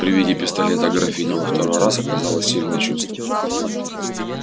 при виде пистолета графиня во второй раз оказала сильное чувство